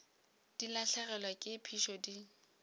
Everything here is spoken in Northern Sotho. di lahlegelwa ke phišo di